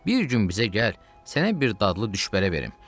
Bir gün bizə gəl, sənə bir dadlı düşbərə verim.